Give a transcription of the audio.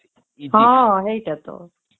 ହଁ ହେଈଟା ତ